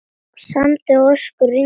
Sandi og ösku rigndi niður.